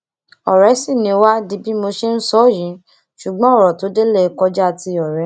ọrẹ sì ni wá di bí mo ṣe ń sọ yìí ṣùgbọn ọrọ tó délé kọjá ti ọrẹ